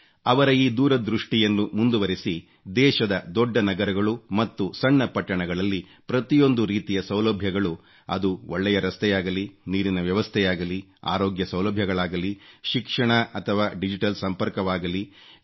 ಅವರ ಈ ದೂರದೃಷ್ಟಿಯನ್ನು ಮುಂದುವರೆಸಿ ದೇಶದ ದೊಡ್ಡ ನಗರಗಳು ಮತ್ತು ಸಣ್ಣ ಪಟ್ಟಣಗಳಲ್ಲಿ ಪ್ರತಿಯೊಂದು ರೀತಿಯ ಸೌಲಭ್ಯಗಳು ಅದು ಒಳ್ಳೆಯ ರಸ್ತೆಯಾಗಲಿ ನೀರಿನ ವ್ಯವಸ್ಥೆಯಾಗಲಿ ಆರೋಗ್ಯ ಸೌಲಭ್ಯಗಳಾಗಲಿ ಶಿಕ್ಷಣ ಅಥವಾ ಡಿಜಿಟಲ್ ಸಂಪರ್ಕವಾಗಲಿ ಇವುಗಳನ್ನು